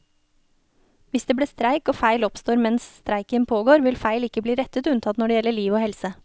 Hvis det blir streik og feil oppstår mens streiken pågår, vil feil ikke bli rettet unntatt når det gjelder liv og helse.